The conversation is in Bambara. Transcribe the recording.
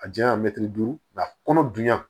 A janya mɛtiri duuru a kɔnɔ dunya